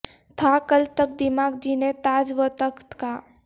تھا کل تک دماغ جنھیں تاج و تخت کا